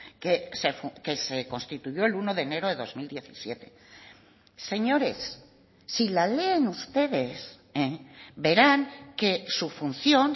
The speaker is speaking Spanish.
que se constituyó el uno de enero de dos mil diecisiete señores si la leen ustedes verán que su función